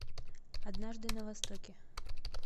однажды на востоке